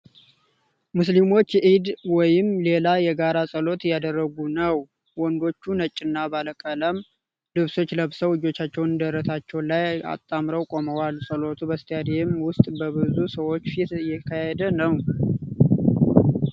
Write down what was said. ሙስሊሞች የዒድ ወይም ሌላ የጋራ ጸሎት እያደርጉ ነው ። ወንዶቹ ነጭና ባለቀለም ልብሶችን ለብሰው እጆቻቸውን ደረታቸው ላይ አጣምረው ቆመዋል። ጸሎቱ በስታዲየም ውስጥ በብዙ ሰዎች ፊት እየተካሄደ ነው።